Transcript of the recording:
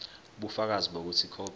ubufakazi bokuthi ikhophi